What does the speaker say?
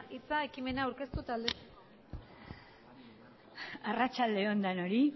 hitza ekimena aurkeztu eta aldezteko arratsalde on denoi